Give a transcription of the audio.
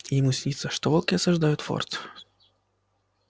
и ему снится что волки осаждают форт